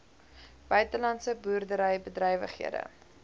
buitelandse boerdery bedrywighede